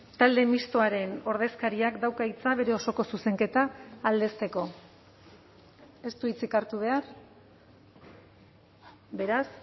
talde mistoaren ordezkariak dauka hitza bere osoko zuzenketa aldezteko ez du hitzik hartu behar beraz